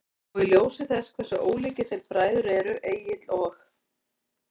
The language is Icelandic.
Og í ljósi þess hversu ólíkir þeir bræður eru, Egill og